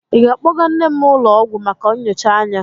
Ị ga-akpọga nne m ụlọ ọgwụ maka nyocha anya?